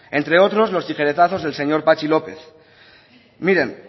entre otros los tijeretazos del señor patxi lópez miren